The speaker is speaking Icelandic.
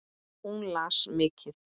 Hún las mikið.